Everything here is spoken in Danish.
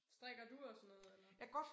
Strikker du og sådan noget eller